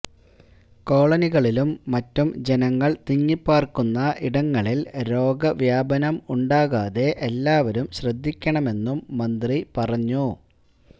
കോളനികളിലും മറ്റും ജനങ്ങള് തിങ്ങിപ്പാര്ക്കുന്ന ഇടങ്ങളില് രോഗവ്യാപനം ഉണ്ടാകാതെ എല്ലാവരും ശ്രദ്ധിക്കണമെന്നും മന്ത്രി പറഞ്ഞു